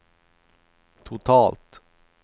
totalt